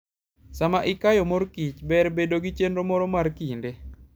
Sama ikayo mor kich, ber bedo gi chenro moro mar kinde.